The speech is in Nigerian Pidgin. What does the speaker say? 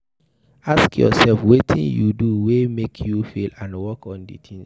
Ask yourself wetin you do wey make you fail and work on di things